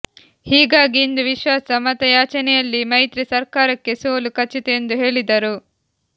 ಹೀಗಾಗಿ ಇಂದು ವಿಶ್ವಾಸ ಮತ ಯಾಚನೆಯಲ್ಲಿ ಮೈತ್ರಿ ಸರ್ಕಾರಕ್ಕೆ ಸೋಲು ಖಚಿತ ಎಂದು ಹೇಳಿದರು